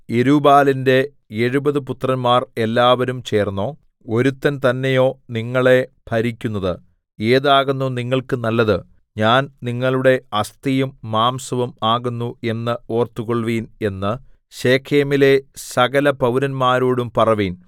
യെരുബ്ബാലിന്റെ എഴുപത് പുത്രന്മാർ എല്ലാവരും ചേർന്നോ ഒരുത്തൻ തന്നെയോ നിങ്ങളെ ഭരിക്കുന്നത് ഏതാകുന്നു നിങ്ങൾക്ക് നല്ലത് ഞാൻ നിങ്ങളുടെ അസ്ഥിയും മാംസവും ആകുന്നു എന്ന് ഓർത്തുകൊൾവിൻ എന്ന് ശെഖേമിലെ സകലപൌരന്മാരോടും പറവിൻ